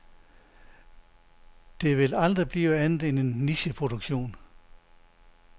Det vil aldrig blive andet end en nicheproduktion.